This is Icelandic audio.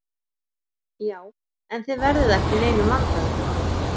Já, en þið verðið ekki í neinum vandræðum.